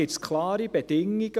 Es gibt klare Bedingungen.